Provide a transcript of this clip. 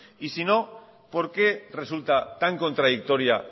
y sino por qué resulta tan contradictoria